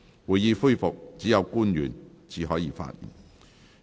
會議恢復時，只有官員才可發言。